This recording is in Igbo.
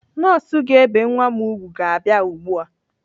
Nọọsụ ga-ebe nwa m ùgwù ga-abia ugbu a.